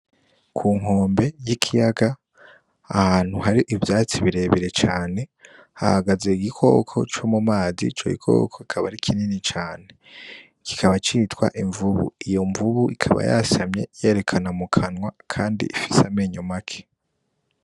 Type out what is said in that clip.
Ku nkombe y' ikiyaga ahantu hari ivyatsi bire bire cane hahagaze igikoko co mu mazi ico gikoko kikaba ari kinini cane kikiba citwa imvubu, iyo mvubu ikaba yasamye yerekana mu kanwa kandi ifise amenyo make.